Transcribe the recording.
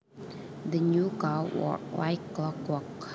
The new car worked like clockwork